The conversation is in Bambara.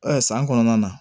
san kɔnɔna na